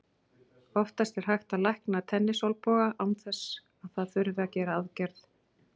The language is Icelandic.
Oftast er hægt að lækna tennisolnboga án þess að það þurfi að gera aðgerð.